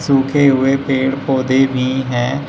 सूखे हुए पेड़ पौधे भी हैं।